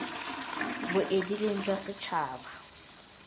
bo edileng jwa setšhaba d